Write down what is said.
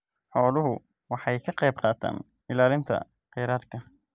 Xooluhu waxay ka qaybqaataan ilaalinta kheyraadka.